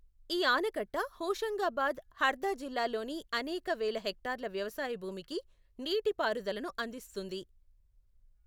ఈ ఆనకట్ట హోషంగాబాద్, హర్దా జిల్లాల్లోని అనేక వేల హెక్టార్ల వ్యవసాయ భూమికి నీటిపారుదలను అందిస్తుంది.